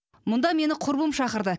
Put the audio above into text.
мұнда мені құрбым шақырды